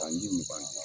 Tanji mugan ni